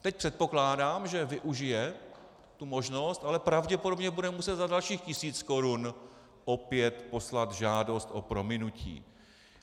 Teď předpokládám, že využije tu možnost, ale pravděpodobně bude muset za dalších tisíc korun opět poslat žádost o prominutí.